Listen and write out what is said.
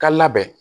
Ka labɛn